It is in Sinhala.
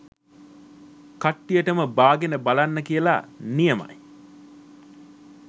කට්ටියටම බාගෙන බලන්න කියල.නියමයි.